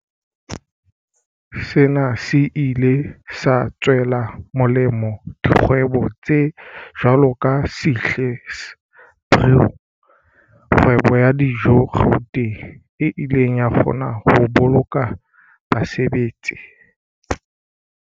Sena se ile sa tswela molemo dikgwebo tse jwalo ka Sihle's Brew, kgwebo ya dijo Gauteng, e ileng ya kgona ho boloka basebetsi.